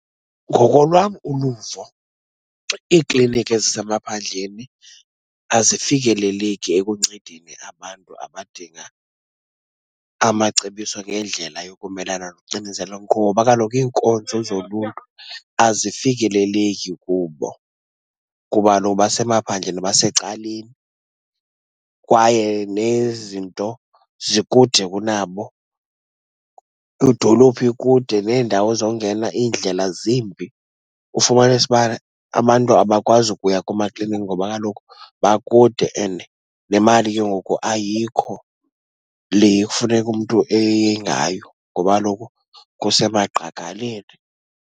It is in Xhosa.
Ngokolwam uluvo iikliniki ezisemaphandleni azifikeleleki ekuncedeni abantu abadinga amacebiso ngendlela yokumelana nocinezelo, ngoba kaloku iinkonzo zoluntu azifikeleleki kubo, kuba kaloku basemaphandleni, basecaleni, kwaye nezinto zikude kunabo. Idolophi ikude neendawo zongena iindlela zimbi. Ufumanise uba abantu abakwazi ukuya koomakliniki ngoba kaloku bakude and le mali ke ngoku ayikho le ekufuneka umntu eye ngayo, ngoba kaloku kusemagqagaleni.